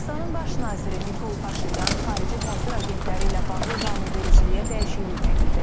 Ermənistanın baş naziri Nikol Paşinyan xarici təsir agentləri ilə bağlı qanunvericiliyə dəyişiklik təklif edib.